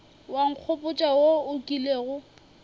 wa nkgopotša wo o kilego